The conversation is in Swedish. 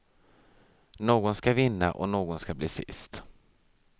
Någon ska vinna och någon ska bli sist.